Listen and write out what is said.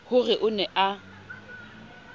ho re o ne a